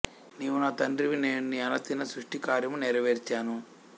నీవు నా తండ్రివి నేను నీ ఆనతిన సృష్టి కార్యము నెరవేర్చాను